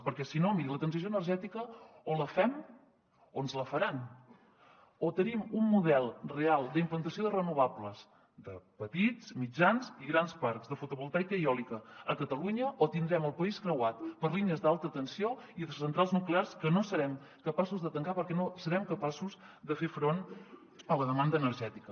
perquè si no miri la transició energètica o la fem o ens la faran o tenim un model real d’implantació de renovables de petits mitjans i grans parcs de fotovoltaica i eòlica a catalunya o tindrem el país creuat per línies d’alta tensió i centrals nuclears que no serem capaços de tancar perquè no serem capaços de fer front a la demanda energètica